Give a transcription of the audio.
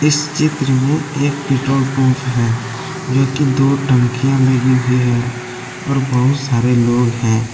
इस चित्र में एक पेट्रोल पंप है जोकि दो टंकियां लगी हुई है और बहुत सारे लोग हैं।